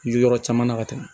Jɔrɔ caman na ka tɛmɛ